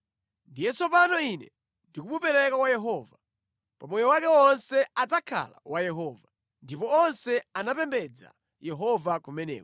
Ndiye tsopano ine ndikumupereka kwa Yehova. Pa moyo wake wonse adzakhala wa Yehova.” Ndipo onse anapembedza Yehova kumeneko.